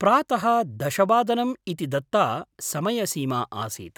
प्रातः दशवादनम् इति दत्ता समयसीमा आसीत्।